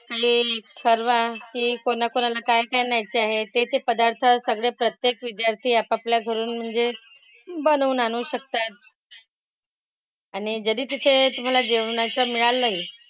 Plan ठरवा की कोणाकोणाला काय काय न्यायाचे आहेत ते ते पदार्थ सगळे प्रत्येक विद्यार्थी आपापल्या घरून म्हणजे बनवून आणू शकतात. आणि जरी तिथे तुम्हाला जेवणाचं मिळालंही,